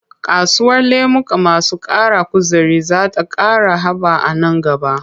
Kasuwar lemuka masu ƙara kuzari za ta ƙara haɓa a nan gaba.